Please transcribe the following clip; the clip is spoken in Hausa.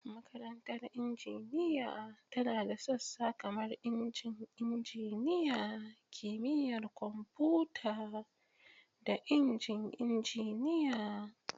Makarantar Injiniya tana da sassa kamar Injin Injiniya, Kimiyyar Kwamfuta, da Injin Injiniya.